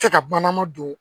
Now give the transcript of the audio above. Tɛ ka bannama don